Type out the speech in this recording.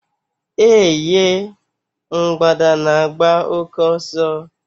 Eh ye! Mgbada na agba òké ọsọ